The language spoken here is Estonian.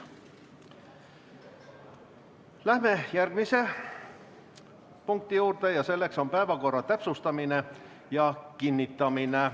Läheme järgmise punkti juurde, päevakorra täpsustamine ja kinnitamine.